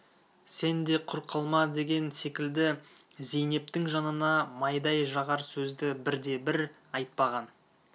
сен де құр қалма деген секілді зейнептің жанына майдай жағар сөзді бірде-бірі айтпаған